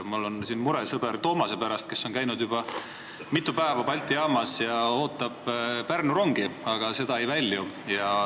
Mul on mure sõber Toomase pärast, kes on juba mitu päeva käinud Balti jaamas ja oodanud Pärnu rongi, aga see ei välju.